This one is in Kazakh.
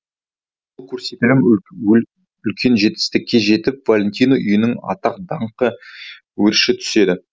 бұл көрсетілім үлкен жетістікке жетіп валентино үйінің атақ даңқы өрши түседі